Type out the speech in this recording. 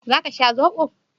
Za ka sha zoɓo?